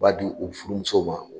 U b'a di u furumusow ma.